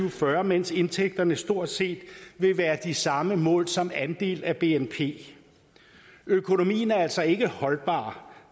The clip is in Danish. og fyrre mens indtægterne stort set vil være de samme målt som andel af bnp økonomien er altså ikke holdbar